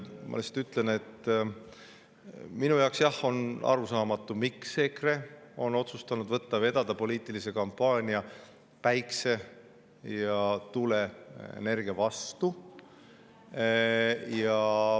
Ma lihtsalt ütlen, et minu jaoks on arusaamatu, miks EKRE on otsustanud võtta vedada poliitilise kampaania päikse‑ ja tuuleenergia vastu.